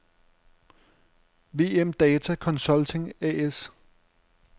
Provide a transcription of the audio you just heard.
WM-Data Consulting A/S